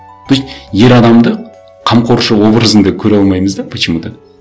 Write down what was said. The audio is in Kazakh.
то есть ер адамды қамқоршы образында көре алмаймыз да почему то